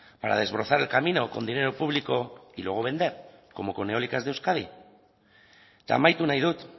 para desbrozar el camino con dinero público y luego vender como con eólicas de euskadi eta amaitu nahi dut